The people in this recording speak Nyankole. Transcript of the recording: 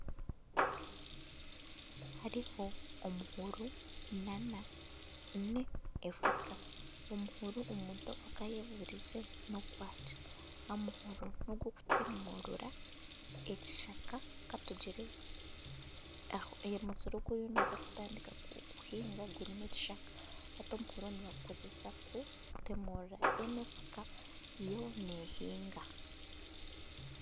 Hariho omuhoro nana efuka. Omuhoro omuntu aka yebuurize n'ogwaki? Omuhoro n'ogw'okutemurura ekishaka ka tugire omusiri ogu orikuza kutandika kuhinga gurimu ekishaka. Hati omuhoro nibagukoresa kutemurura kande efuka yo nehinga.